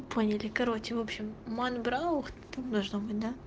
поняли короче в общем манбраух там должно быть да